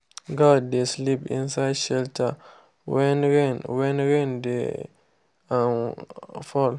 goat dey sleep inside shelter when rain when rain dey um fall.